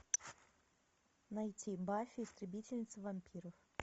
найти баффи истребительница вампиров